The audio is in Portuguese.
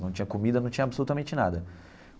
Não tinha comida, não tinha absolutamente nada.